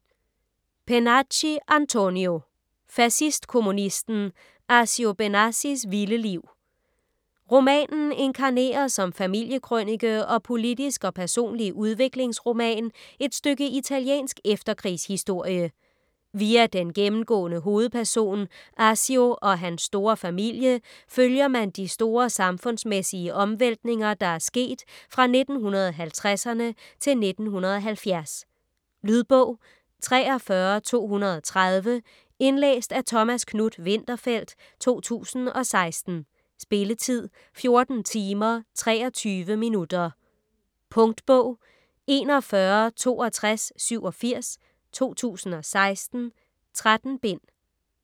Pennacchi, Antonio: Fascistkommunisten: Accio Benassis vilde liv Romanen inkarnerer som familiekrønike og politisk og personlig udviklingsroman et stykke italiensk efterkrigshistorie. Via den gennemgående hovedperson Accio og hans store familie følger man de store samfundsmæssige omvæltninger, der er sket fra 1950'erne til 1970. Lydbog 43230 Indlæst af Thomas Knuth-Winterfeldt, 2016. Spilletid: 14 timer, 23 minutter. Punktbog 416287 2016. 13 bind.